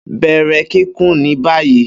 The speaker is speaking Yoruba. Bẹrẹ kikùn ni bayi!